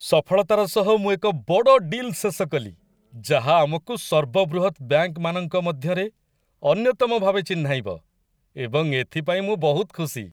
ସଫଳତାର ସହ ମୁଁ ଏକ ବଡ଼ ଡିଲ୍ ଶେଷ କଲି, ଯାହା ଆମକୁ ସର୍ବବୃହତ୍ ବ୍ୟାଙ୍କମାନଙ୍କ ମଧ୍ୟରେ ଅନ୍ୟତମ ଭାବେ ଚିହ୍ନାଇବ, ଏବଂ ଏଥିପାଇଁ ମୁଁ ବହୁତ ଖୁସି।